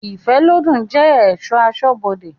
Ifelodun je esọ̀ asọ́bodè